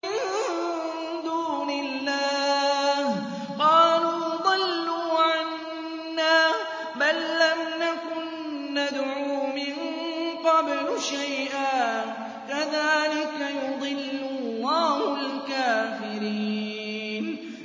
مِن دُونِ اللَّهِ ۖ قَالُوا ضَلُّوا عَنَّا بَل لَّمْ نَكُن نَّدْعُو مِن قَبْلُ شَيْئًا ۚ كَذَٰلِكَ يُضِلُّ اللَّهُ الْكَافِرِينَ